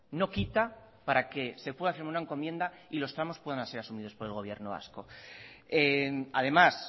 no quita para que se pueda hacer una encomienda y los tramos puedan ser asumidos por el gobierno vasco además